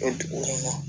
Dugu kɔnɔ